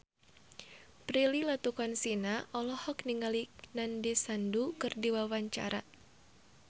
Prilly Latuconsina olohok ningali Nandish Sandhu keur diwawancara